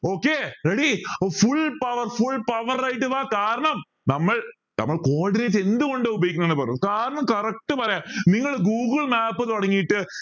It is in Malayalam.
okay ready അപ്പൊ full power full power ആയിട്ട് വാ കാരണം നമ്മൾ നമ്മൾ coordinate എന്തുകൊണ്ടും ഉപയോഗിക്കുന്നത് sir correct പറയാം നിങ്ങള് google map തുടങ്ങിയിട്ട്